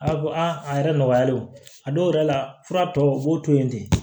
A ko a yɛrɛ nɔgɔyalen o a dɔw yɛrɛ la fura tɔ u b'o to yen ten